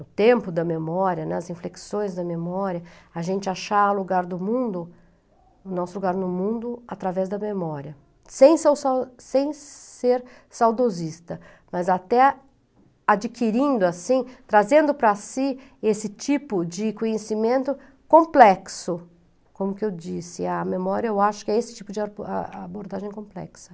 o tempo da memória, né, as inflexões da memória, a gente achar lugar no mundo, nosso lugar no mundo através da memória, sem ser saudo sem ser saudosista, mas até adquirindo, assim, trazendo para si esse tipo de conhecimento complexo, como que eu disse, a memória eu acho que é esse tipo de a a abordagem complexa.